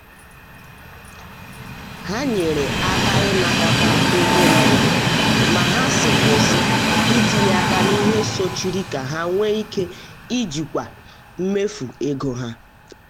ha nyere aka n’ịnakọta ego mbụ ma ha si um kwụsị um itinye aka n’ihe sochiri ka ha nwee ike ijikwa mmefu ego ha.